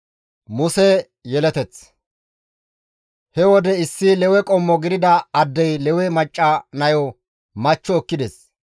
He wode issi Lewe qommo gidida addey Lewe macca nayo machcho ekkides;